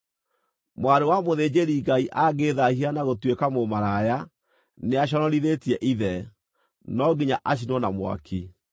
“ ‘Mwarĩ wa mũthĩnjĩri-Ngai angĩĩthaahia na gũtuĩka mũmaraya, nĩaconorithĩtie ithe; no nginya acinwo na mwaki.